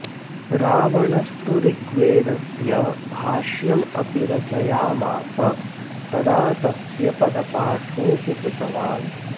रावणस्तु ऋग्वेदस्य भाष्यमपि रचयामास तथा तस्य पदपाठोऽपि कृतवान्